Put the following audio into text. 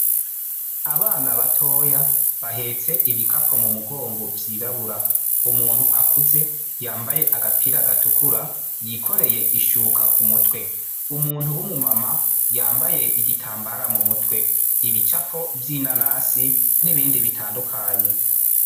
Abana batoya bahetse ibikapo mu mugongo vyirabura umuntu akuze yambaye agapira gatukura yikoreye ishuka ku mutwe. Umuntu w'umu mama yambaye igitamabra mu mutwe ibicapo vy'inanasi n'ibindi bitandukanye.